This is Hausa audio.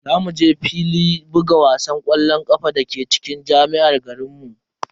Za mu je filin buga wasan ƙwallon ƙafa dake cikin jami'ar garinmu.